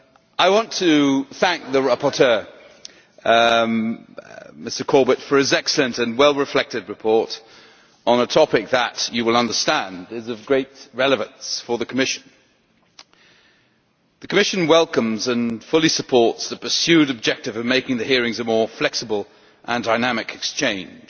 I want to thank the rapporteur, Mr Corbett, for his excellent and well-reflected report on a topic that Members will understand is of great relevance for the Commission. The Commission welcomes and fully supports the pursued objective of making the hearings a more flexible and dynamic exchange.